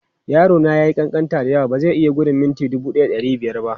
Yaro na ya yi ƙanƙanta da yawa, ba zai iya gudun mita 1500 ba.